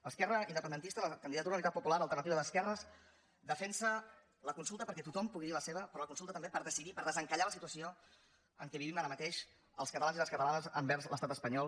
l’esquerra independentista la candidatura d’unitat popular alternativa d’esquerres defensa la consulta perquè tothom pugui dir hi la seva però la consulta també per decidir per desencallar la situació en què vivim ara mateix els catalans i les catalanes envers l’estat espanyol